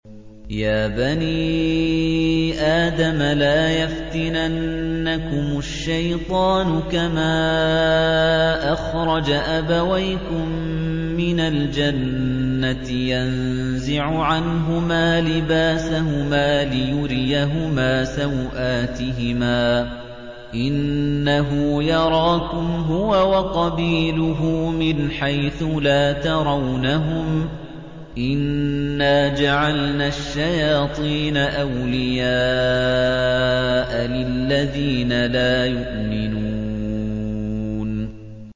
يَا بَنِي آدَمَ لَا يَفْتِنَنَّكُمُ الشَّيْطَانُ كَمَا أَخْرَجَ أَبَوَيْكُم مِّنَ الْجَنَّةِ يَنزِعُ عَنْهُمَا لِبَاسَهُمَا لِيُرِيَهُمَا سَوْآتِهِمَا ۗ إِنَّهُ يَرَاكُمْ هُوَ وَقَبِيلُهُ مِنْ حَيْثُ لَا تَرَوْنَهُمْ ۗ إِنَّا جَعَلْنَا الشَّيَاطِينَ أَوْلِيَاءَ لِلَّذِينَ لَا يُؤْمِنُونَ